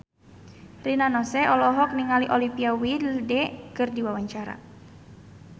Rina Nose olohok ningali Olivia Wilde keur diwawancara